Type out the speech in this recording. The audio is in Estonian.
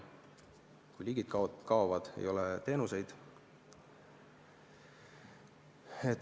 Kui liigid kaovad, ei ole teenuseid.